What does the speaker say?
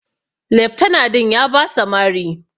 Leftana din ya basa Mari.